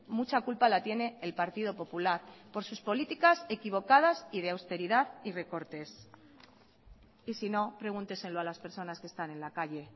mucha culpa la tiene el partido popular por sus políticas equivocadas y de austeridad y recortes y sino pregúnteselo a las personas que están en la calle